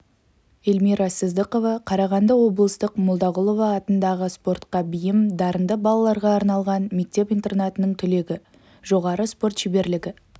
эльмира сыздықова қарағанды облыстық молдағұлова атындағы спортқа бейім дарынды балаларға арналған мектеп-интернатының түлегі жоғары спорт шеберлігі